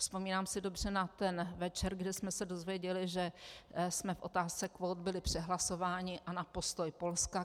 Vzpomínám si dobře na ten večer, kdy jsme se dozvěděli, že jsme v otázce kvót byli přehlasováni, a na postoj Polska.